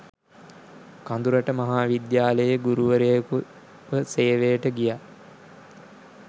කඳුරට මහා විද්‍යාලයේ ගුරුවරයකුව සේවයට ගියා.